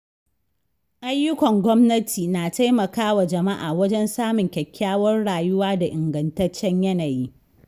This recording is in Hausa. Ayyukan gwamnati na taimakawa jama'a wajen samun kyakkyawar rayuwa da ingantaccen yanayi.